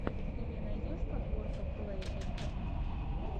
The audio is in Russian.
ты мне найдешь подборка плэй эт хом